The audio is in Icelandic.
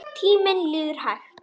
Tíminn líður hægt.